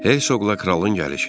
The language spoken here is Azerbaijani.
Ey sığla kralın gəlişi.